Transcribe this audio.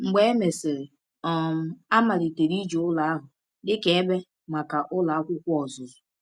Mgbe e mesịrị, um a malitere iji ụlọ ahụ dị ka ebe maka Ụlọ Akwụkwọ Ọzụzụ.